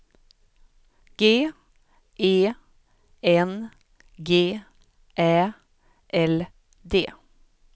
G E N G Ä L D